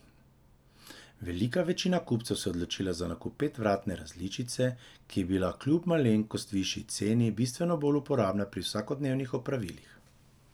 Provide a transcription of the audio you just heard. Velika večina kupcev se je odločila za nakup petvratne različice, ki je bila kljub malenkost višji ceni bistveno bolj uporabna pri vsakodnevnih opravilih.